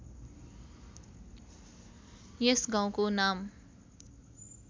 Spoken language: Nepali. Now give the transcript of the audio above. यस गाउँको नाम